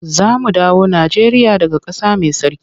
Za mu dawo Najeriya daga ƙasa mai tsarki.